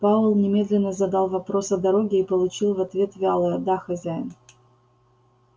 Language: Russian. пауэлл немедленно задал вопрос о дороге и получил в ответ вялое да хозяин